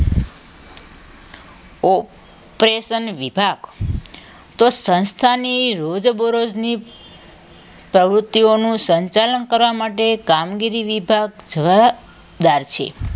operation વિભાગ તો સંસ્થાની રોજબરોજની પ્રવૃત્તિઓનું સંચાલન કરવા માટે કામગીરી વિભાગ જવાબદાર છે